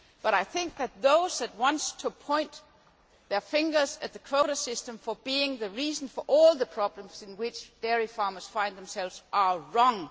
But I think that those who want to point their finger at the quota system for being the reason for all the problems in which dairy farmers find themselves are wrong.